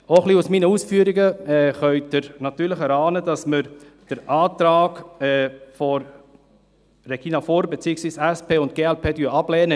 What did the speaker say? Aus meinen Ausführungen können Sie vielleicht erahnen, dass wir den Antrag von Regina Fuhrer beziehungsweise von SP und glp ablehnen.